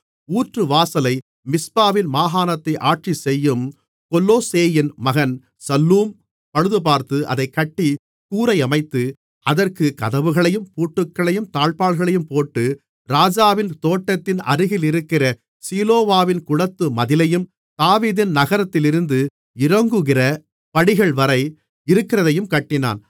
ஊற்றுவாசலை மிஸ்பாவின் மாகாணத்தை ஆட்சி செய்யும் கொல்லோசேயின் மகன் சல்லூம் பழுதுபார்த்து அதைக் கட்டி கூரையமைத்து அதற்குக் கதவுகளையும் பூட்டுகளையும் தாழ்ப்பாள்களையும் போட்டு ராஜாவின் தோட்டத்தின் அருகிலிருக்கிற சீலோவாவின் குளத்து மதிலையும் தாவீதின் நகரத்திலிருந்து இறங்குகிற படிகள்வரை இருக்கிறதையும் கட்டினான்